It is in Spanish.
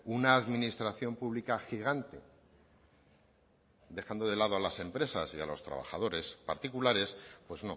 una administración pública gigante dejando de lado a las empresas y a los trabajadores particulares pues